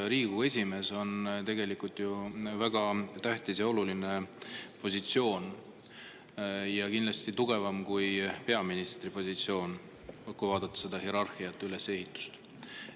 Riigikogu esimehel on tegelikult ju väga tähtis positsioon, see on kindlasti tugevam kui peaministri positsioon hierarhia, ülesehituse mõttes.